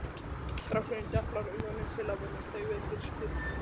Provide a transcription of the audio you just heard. Strákurinn deplar augunum til að venja þau við birtu